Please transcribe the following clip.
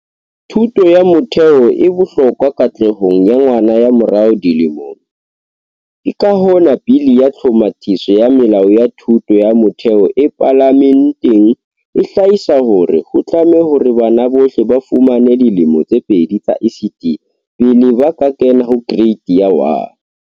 Thuto ya motheo e bohlokwa katlehong ya ngwana hamo rao dilemong, ke ka hona Bili ya Tlhomathiso ya Melao ya Thuto ya Motheo e Palame nteng e hlahisa hore ho tlame hore bana bohle ba fumane dilemo tse pedi tsa ECD pele ba kena ho Kereiti ya 1.